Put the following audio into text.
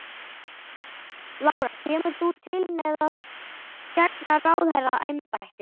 Lára: Kemur þú til með að gegna ráðherraembætti?